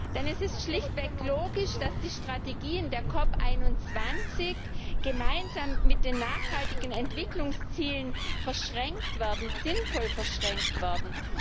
Denn es ist schlichtweg logisch, dass die Strategien der COP 21 gemeinsam mit den nachhaltigen Entwicklungszielen verschränkt werden, sinnvoll verschränkt werden.